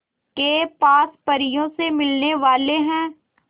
के पास परियों से मिलने वाले हैं